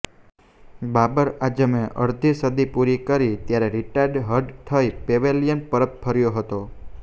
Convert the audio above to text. બાબર આઝમે અર્ધી સદી પૂર્ણ કરી ત્યારે તે રિટાયર્ડ હર્ટ થઈ પેવેલિયન પરત ફર્યો હતો